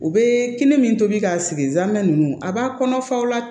U bɛ kɛnɛ min tobi k'a sigi zamɛ ninnu a b'a kɔnɔfaw la